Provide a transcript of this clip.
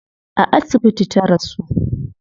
A asibiti ta rasu